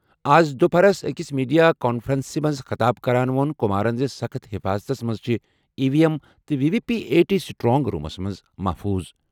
اَز دُپہرَس أکِس میڈیا کانفرنسَس منٛز خطاب کران ووٚن کُمارَن زِ سخت حِفاظتس منٛز چھِ ای وی ایم تہٕ V V P A T strong rooms منٛز محفوٗظ۔